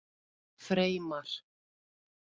Freymar